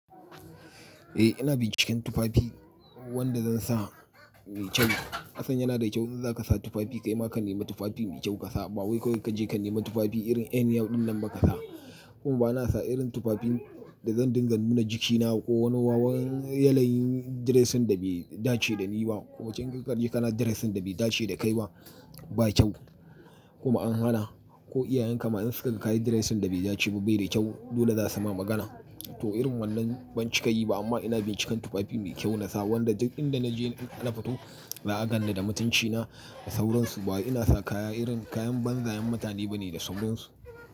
Eh ina binciken tufafi wanda zan sa mai kyau. Kasan yana da kyau in za ka sa tufafi kai ma ka nema tufafi mai kyau ka sa. Ba wai kawai ka je ka nema tufafi irin anyhow din nan ba ka sa. Kuma ba na sa irin tufafin da zan dinga zanbuna jikina ko wani wawan yanayin dressing da bai dace da ni ba, kuma kinga kahe ƙana dressing da bai dace da kai ba, ba kyau. Kuma an hana ko iyayenka ma in suka ga kayi dressing da bai dace ba bai da kyau, dole za su ma magana. To irin wannan ban cika yi ba amma ina bincikan tufafi mai kyau na sa wanda duk inda na je in na fito za a ganni da mutunci na da sauransu. Ba ina sa kaya irin kayan banza'yan mutane ba ne da sauransu.